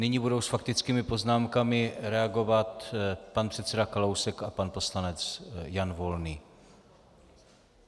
Nyní budou s faktickými poznámkami reagovat pan předseda Kalousek a pan poslanec Jan Volný.